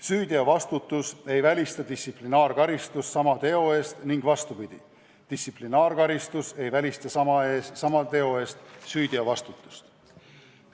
Süüteovastutus ei välista distsiplinaarkaristust sama teo eest ning vastupidi, distsiplinaarkaristus ei välista sama teo eest süüteovastutust.